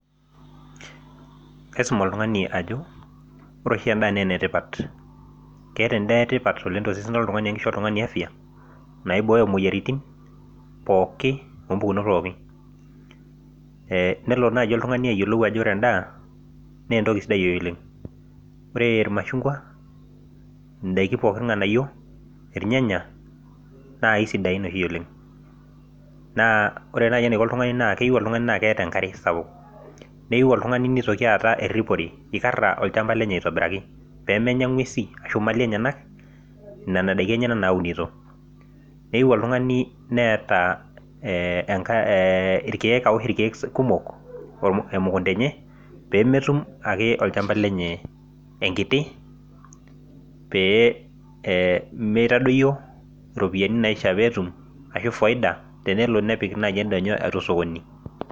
Kaisum oltungani ajo ore oshi endaa naa enetipat kisho endaa oltungani afya naibok imoyiaritin pokin ompukunot pookin , nelo naji oltungani ayiolou naa entoki sidai oleng , ore irmashunkwa , indaiki pookin , irnganayio ,irnyanya naa kisidain oleng naa oire nai nenaiko oltungani naa keyieu naa keeta enkare sapuk , neyieu oltungani nitoki aata eripore , ikara olchamba lenye aitobiraki pemenya ingwesi nena daiki enyenak naunito , neyieu oltungani neeta aosh irkiek kumok nemetum olchamba lenye enkiti peyie mitadoyio ropiyiani naifaa petum ashu tenelo nepik naji endaa enye osokoni.